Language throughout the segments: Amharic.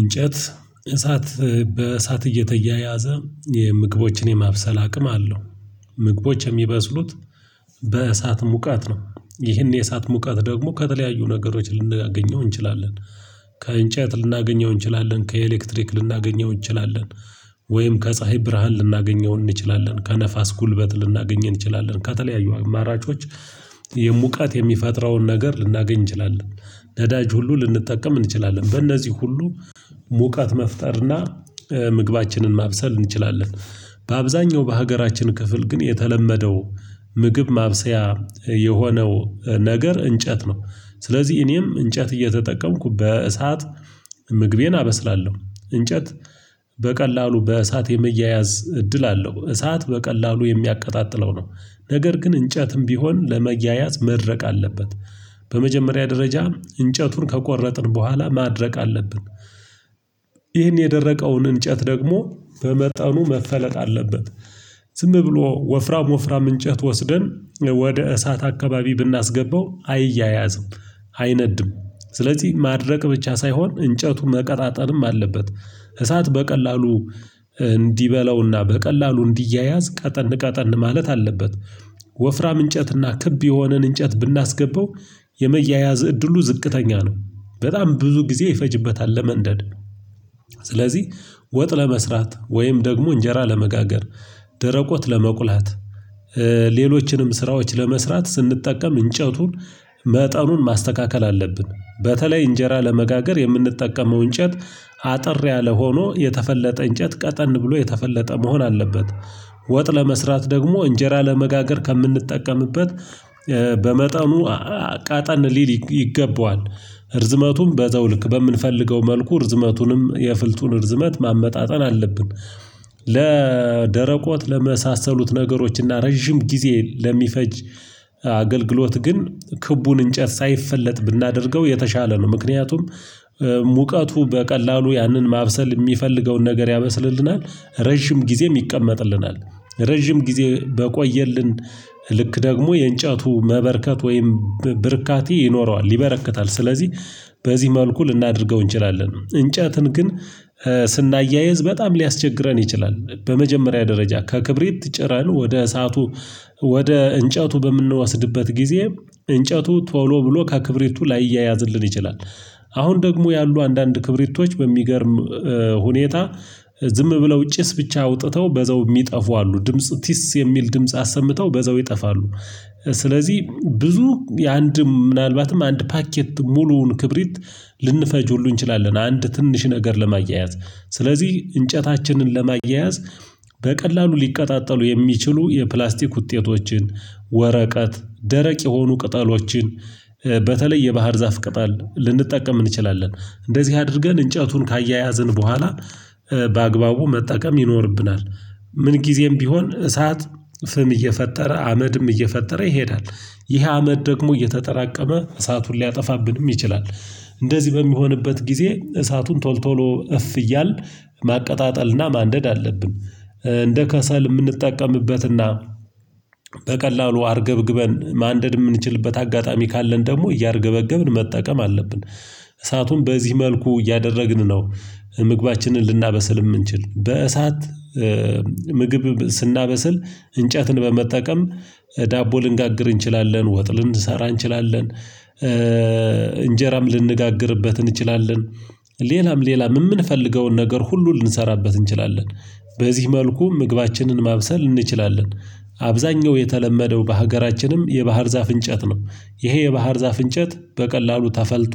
እንጨት እሳት በእሳት እየተያያዘ የምግቦችን የማብሰል አቅም አለው። ምግቦች የሚበስሉት በእሳት ሙቀት ነው። ይህን የእሳት ሙቀት ደግሞ ከተለያዩ ነገሮች ልናገኘው እንችላለን። ከእንጨት ልናገኘው እንችላለን ከኤሌክትሪክ ልናገኘው እንችላለን። ወይም ከፀሀይ ብርሃን ልናገኘው እንችላለን ከነፋስ ጉልበት ልናገኘው እንችላለን ከተለያዩ አማራጮች የሙቃት የሚፈጥረውን ነገር ልናገኝ እንችላለን። ነዳጅ ሁሉ ልንጠቀም እንችላለን በእነዚህ ሁሉ ሙቀት መፍጠርና ምግባችንን ማብሰል እንችላለን። በአብዛኛው በሀገራችን ክፍል ግን የተለመደው ምግብ ማብሰያ የሆነው ነገር እንጨት ነው። ስለዚህ እኔም እንጨት እየተጠቀምኩ በእሳት ምግቤን አበስላለሁ። እንጨት በቀላሉ በእሳት የመያያዝ እድል አለው እሳት በቀላሉ የሚያቀጣጥለው ነው። ነገር ግን እንጨትም ቢሆን ለመያያዝ መድረቅ አለበት። በመጀመሪያ ደረጃ እንጨቱን ከቆረጥን በኋላ ማድረቅ አለብን። ይህን የደረቀውን እንጨት ደግሞ በመጠኑ መፈለጥ አለበት። ዝም ብሎ ወፍራም ወፍራም እንጨት ወስደን ወደ እሳት አካባቢ ብናስገባው አይያያዝም። አይነድም። ስለዚህ ማድረቅ ብቻ ሳይሆን እንጨቱ መቀጣጠልም አለበት። እሳት በቀላሉ እንዲበላውና በቀላሉ እንዲያያዝ ቀጠን ቀጠን ማለት አለበት። ወፍራም እንጨትና ክብ የሆነን እንጨት ብናስገባው የመያያዝ እድሉ ዝቅተኛ ነው በጣም ብዙ ጊዜ ይፈጅበታል ለመንደድ። ስለዚህ ወጥ ለመስራት ወይም ደግሞ እንጀራ ለመጋገር ደረቆት ለመቁላት። ሌሎችንም ስራዎች ለመስራት ስንጠቀም እንጨቱን መጠኑን ማስተካከል አለብን። በተለይ እንጀራ ለመጋገር የምንጠቀመው እንጨት አጠር ያለ ሆኖ የተፈለጠ እንጨት ቀጠን ብሎ የተፈለጠ መሆን አለበት። ወጥ ለመስራት ደግሞ እንጀራ ለመጋገር ከምንጠቀምበት በመጠኑ ቀጠን ሊል ይገባዋል እርዝመቱም በዘው ልክ በምንፈልገው መልኩ እርዝመቱንም የፍልጡን ርዝመት ማመጣጠን አለብን። ለደረቆት ለመሳሰሉት ነገሮች እና ረጅም ጊዜ ለሚፈጅ አገልግሎት ግን ክቡን እንጨት ሳይፈለጥ ብናደርገው የተሻለ ነው። ምክንያቱም ሙቀቱ በቀላሉ ያንን ማብሰል የሚፈልገውን ነገር ያበስልልናል። ረጅም ጊዜ ይቀመጥልናል። ረጅም ጊዜ በቆየልን ልክ ደግሞ የእንጨቱ መበርከት ወይም ብርካቲ ይኖረዋል ይበረክታል። ስለዚህ በዚህ መልኩ ልናደርገው እንችላለን እንጨትን ግን ስናያይዝ በጣም ሊያስቸግረን ይችላል። በመጀመሪያ ደረጃ ከክብሬት ጭረን ወደ እሳቱ ወደ እንጨቱ በምንወስድበት ጊዜ እንጨቱ ቶሎ ብሎ ከክብሪቱ ላይያያዝልን ይችላል። አሁን ደግሞ ያሉ አንዳንድ ክብሪቶች በሚገርም ሁኔታ ዝም ብለው ጭስ ብቻ አውጥተው በዘው የሚጠፉ አሉ ድምጽ ቲስ የሚል ድምጽ አሰምተው በዘው ይጠፋሉ። ስለዚህ ብዙ የአንድ ምናልባትም አንድ ፓኬት ሙሉውን ክብሪት ልንፈጅ ሁሉ እንችላለን። አንድ ትንሽ ነገር ለማያያዝ ስለዚህ እንጨታችንን ለማያያዝ በቀላሉ ሊቀጣጠሉ የሚችሉ የፕላስቲክ ውጤቶችን ወረቀት ደረቅ የሆኑ ቅጠሎችን በተለይ የባህር ዛፍ ቅጠል ልንጠቀም እንችላለን። እንደዚህ አድርገን እንጨቱን ካያያዝን በኋላ በአግባቡ መጠቀም ይኖርብናል። ምን ጊዜም ቢሆን እሳት ፍም እየፈጠረ አመድም እየፈጠረ ይሄዳል። ይህ አመድ ደግሞ እየተጠራቀመ እሳቱን ሊያጠፋብንም ይችላል። እንደዚህ በሚሆንበት ጊዜ እሳቱን ቶል ቶሎ እፍ እያል ማቀጣጠልና ማንደድ አለብን። እንደ ከሰል የምንጠቀምበትና በቀላሉ አርገብግበን ማንደድ የምንችልበት አጋጣሚ ካለን ደግሞ እያርገበገብን መጠቀም አለብን። እሳቱን በዚህ መልኩ እያደረግን ነው። ምግባችንን ልናበስል የምንችል በእሳት ምግብ ስናበስል እንጨትን በመጠቀም ዳቦ ልንጋግር እንችላለን ወጥ ልንሰራ እንችላለን። እንጀራም ልንጋግርበት እንችላለን። ሌላም ሌላም የምንፈልገውን ነገር ሁሉ ልንሰራበት እንችላለን። በዚህ መልኩ ምግባችንን ማብሰል እንችላለን። አብዛኛው የተለመደው በሀገራችንም የባህር ዛፍ እንጨት ነው ይሄ የባህር ዛፍ እንጨት በቀላሉ ተፈልጦ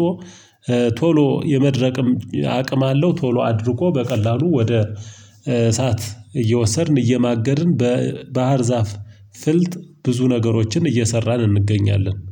ቶሎ የመድረቅም አቅም አለው። ቶሎ አድርቆ በቀላሉ ወደ እሳት እየወሰድን እየማገድን በባህር ዛፍ ፍልጥ ብዙ ነገሮችን እየሰራን እንገኛለን